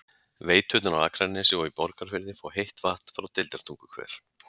Veiturnar á Akranesi og í Borgarfirði fá heitt vatn frá Deildartunguhver.